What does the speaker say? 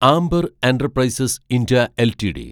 amber Enterprises India LTD